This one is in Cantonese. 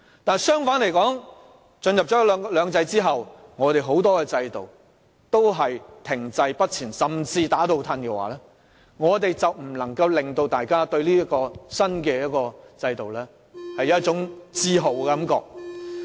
但若在進入"兩制"後，很多制度均停滯不前甚至"打倒褪"的話，便無法令大家對"一國兩制"產生自豪感了。